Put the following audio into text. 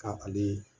Ka ale